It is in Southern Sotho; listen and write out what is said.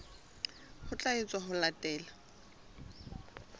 ho tla etswa ho latela